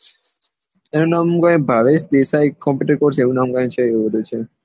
એનો નામ કઈ ભાવેશ દેસાઈ કોમ્પુટર કોર્ષ એવું નામ કરી ને છે એવો બધો